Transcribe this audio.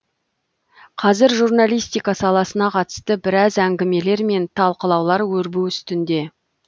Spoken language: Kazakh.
қазір журналистика саласына қатысты біраз әңгімелер мен талқылаулар өрбу үстінде